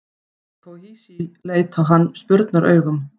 Herra Toshizi leit á hann spurnaraugum.